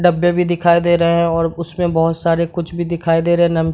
डब्बे भी दिखाई दे रहे हैं और उसमें बहुत सारे कुछ भी दिखाई दे रहे हैं नम --